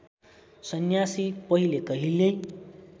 सन्यासी पहिले कहिल्यै